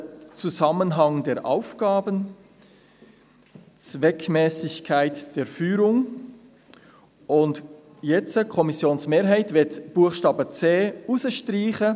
«Zusammenhang der Aufgaben», «Zweckmässigkeit der Führung», und jetzt möchte die Kommissionsmehrheit den Buchstaben c streichen: